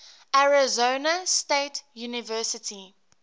arizona state university